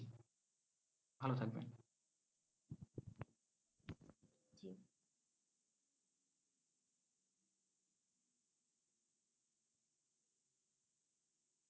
ভালো থাকবেন